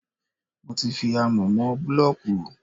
Mo ti fi amọ̀ mọ búlọ̀kù.